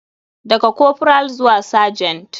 Daga corporal zuwa sergent.